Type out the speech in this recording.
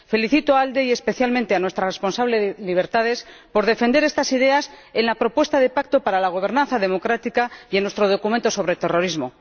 Felicito a ALDE, y especialmente a nuestra responsable de libertades, por defender estas ideas en la propuesta de pacto para la gobernanza democrática y en nuestro documento sobre terrorismo.